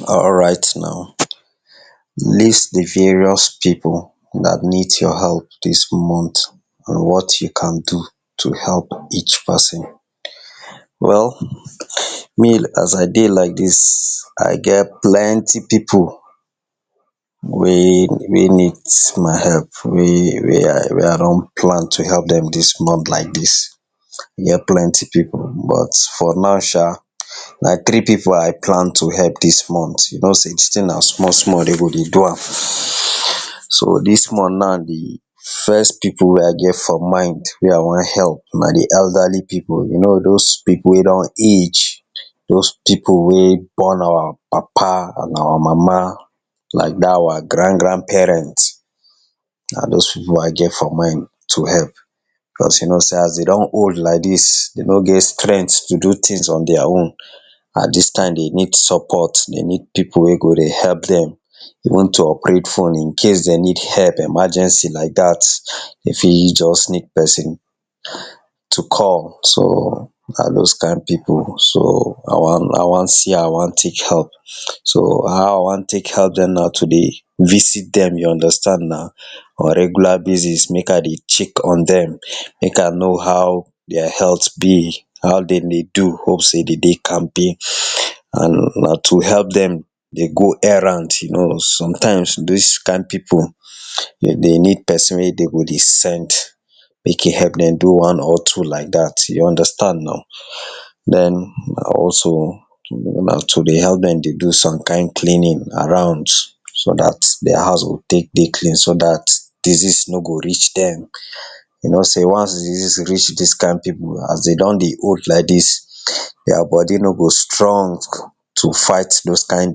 Alright now, list de various pipu dat needs your help dis month and what you can do to help each person? Well me as I dey like dis, I get plenty pipu, wey wey need my help wey wey I don plan to help dem dis month like dis I get plenty pipu but for now sha na three pipu I plan to help dis month you know sey de thing na small dem go dey do am. So dis month now de first pipu wey I get for mind wey I wan help na de elderly pipu you know those pipu wey don age, those pipu wey born our papa and our mama like dat our grand grand parents, na those pipu I get for mind to help, cause you know sey as dem don old like dis dey no get strength to do things on their own at dis time dey need support dem need pipu wey go dey help dem, even to operate phone incase dem need help emergency like dat dey fit just need pesin to call so na those kind pipu so I wan see I wan talk help, so how I wan take help dem na to dey visit dem you understand na on regular basis make I dey check on dem make I know how their health be, how dem dey do hope sey dem dey kampe and na to help dem dey go errand you know sometimes dis kind pipu dem dey need pesin wey dem go dey send make e help dem don one or two like dat you understand na. den also remember to dey help dem dey do some kind cleaning around so dat there house go take dey clean so dat disease no go reach dem. You know sey once disease reach dis kind pipu as dem don dey old like dis their body no go strong. To fight those kind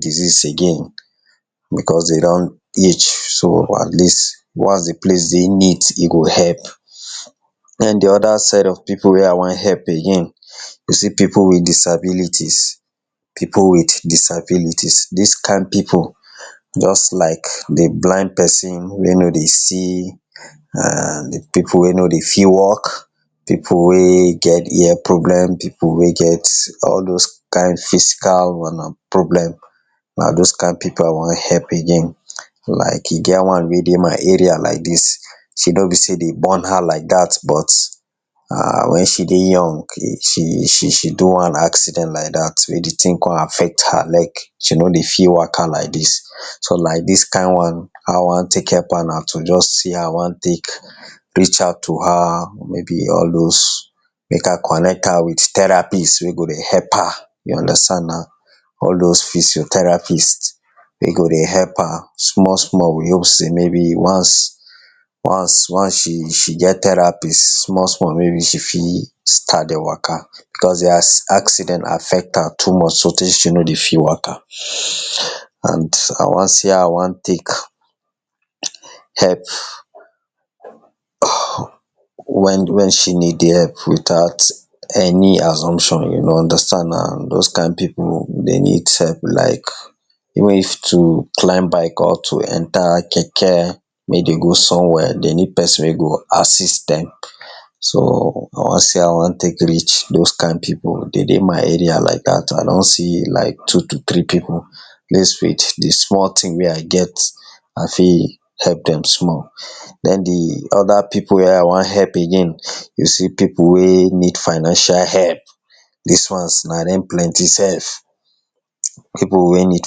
disease again because dem don age so at least once de place dey neat e go help. Den de other set of pipu wey I wan help again you see pipu with disabilities pipu with disabilities dis kind pipu just like de blind person wey no dey see and de pipu wey no dey fit walk, pipu wey get ear problem, pipu wey get all those kind physical problem. Na those kind pipu I wan help again, like e get one wey dey my area like dis no be sey dey born am like dat but na when she dey young she she she do wan accident like dat, wey de thing come affect her leg she no dey fit waka like dis so like dis kind one how I wan take help am na to just see how I wan take reach out to her maybe all those. Make I connect am with therapist wey go help am all those physiotherapist. Dem go dey help her small small with hope sey maybe once she get therapist small small she fit start dey waka because accident affect am too much, so tey she no dey fit waka and I wan see how I wan take help her when she need de help without any assumption you go understand na those kind pipu dem need help like even if to climb bike or to enter keke make dem go somewhere dey need pesin wey go assist dem. So I wan se how I wan take reach those kind pipu dem dey my area like dat I don see like two to three pipu, dis week de small thing wey I get I fit help dem small. Den de other pipu wey I wan help again you see pipu wey need financial help dis ones na dem plenty self pipu wey need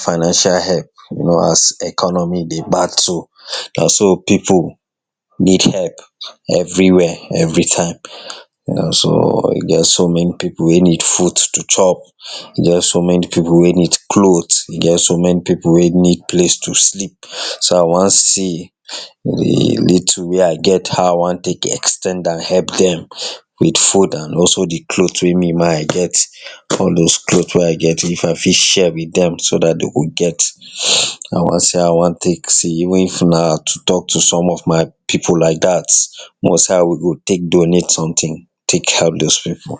financial help, as economy dey battle naso pipu need help every where every time, e get so many pipu wey need food to chop, e get so many pipu wey need clothes, e get so many pipu wey need place to sleep, so I wan see de little wey I get how I wan take ex ten d am help dem with food and also de cloth wey me ma I get. All those cloth wey I get if I fit share with dem so dat dem go get. I wan see how I wan take see even if na to talk to some of my pipu like dat we see how we go take donate something, take help those pipu.